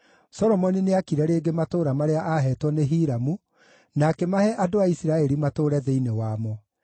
Solomoni nĩaakire rĩngĩ matũũra marĩa aaheetwo nĩ Hiramu, na akĩmahe andũ a Isiraeli matũũre thĩinĩ wamo.